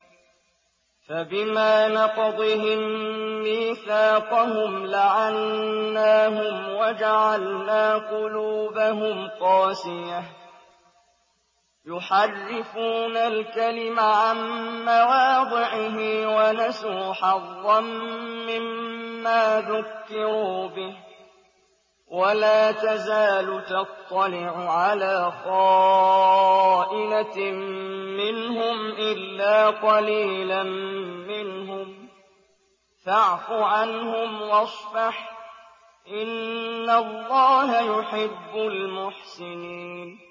فَبِمَا نَقْضِهِم مِّيثَاقَهُمْ لَعَنَّاهُمْ وَجَعَلْنَا قُلُوبَهُمْ قَاسِيَةً ۖ يُحَرِّفُونَ الْكَلِمَ عَن مَّوَاضِعِهِ ۙ وَنَسُوا حَظًّا مِّمَّا ذُكِّرُوا بِهِ ۚ وَلَا تَزَالُ تَطَّلِعُ عَلَىٰ خَائِنَةٍ مِّنْهُمْ إِلَّا قَلِيلًا مِّنْهُمْ ۖ فَاعْفُ عَنْهُمْ وَاصْفَحْ ۚ إِنَّ اللَّهَ يُحِبُّ الْمُحْسِنِينَ